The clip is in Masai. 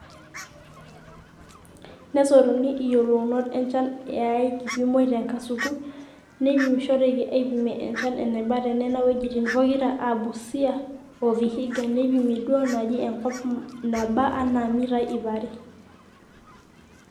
Nesotuni iyiolounot enchan aa keipimi te nkasuku naipimishoreki aaipimie enchan eneba te Nena wuejitin pokira aa Busia o Vihiga neipimi duoo naaji enkop naaba anaa mitai ipare.